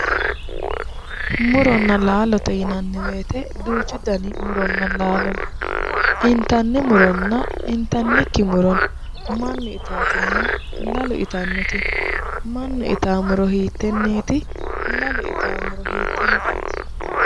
Muronna laalo yinanni woyite duuchu dani muronna laalono initanni muronna initanniki muro no mannu itaatinna lalu itannoti no mannu itawo muro hiiteneeti? Lalu itawo muro hiiteneeti ?